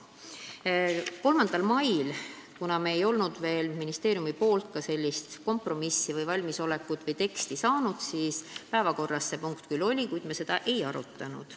3. maiks me ei olnud veel ministeeriumist seda valmisolekut tõendavat teksti saanud ja päevakorras see punkt küll oli, kuid me seda ei arutanud.